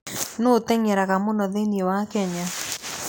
Nũũ ũteng'eraga mũno thĩinĩ wa Kenya?